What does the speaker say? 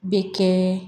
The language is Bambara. Bɛ kɛ